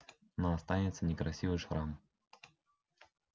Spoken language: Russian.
но останется некрасивый шрам